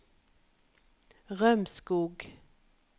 Rømskog